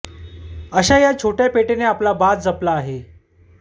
अश्या या छोट्या पेठेने आपला बाज जपला आहे